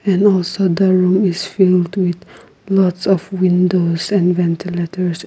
and also the room is filled with lots of windows and ventilators and --